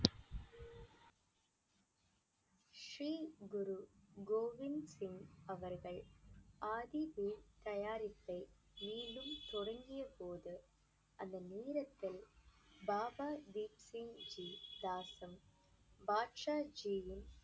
ஸ்ரீ குரு கோபிந்த் சிங் அவர்கள் ஆதி தயாரிப்பை மீண்டும் தொடங்கிய போது அந்த நேரத்தில் பாபா தீப் சிங் பாட்ஷா ஜீயின்